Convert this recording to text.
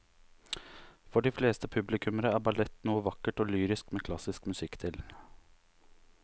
For de fleste publikummere er ballett noe vakkert og lyrisk med klassisk musikk til.